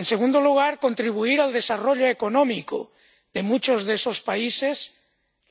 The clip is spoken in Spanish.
En segundo lugar, contribuir al desarrollo económico de muchos de esos países,